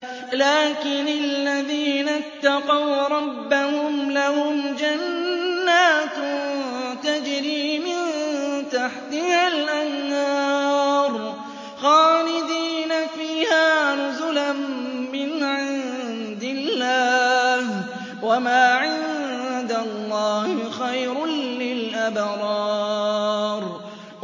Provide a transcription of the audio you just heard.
لَٰكِنِ الَّذِينَ اتَّقَوْا رَبَّهُمْ لَهُمْ جَنَّاتٌ تَجْرِي مِن تَحْتِهَا الْأَنْهَارُ خَالِدِينَ فِيهَا نُزُلًا مِّنْ عِندِ اللَّهِ ۗ وَمَا عِندَ اللَّهِ خَيْرٌ لِّلْأَبْرَارِ